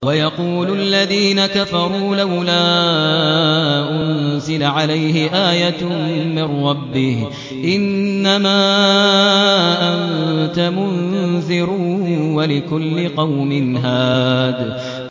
وَيَقُولُ الَّذِينَ كَفَرُوا لَوْلَا أُنزِلَ عَلَيْهِ آيَةٌ مِّن رَّبِّهِ ۗ إِنَّمَا أَنتَ مُنذِرٌ ۖ وَلِكُلِّ قَوْمٍ هَادٍ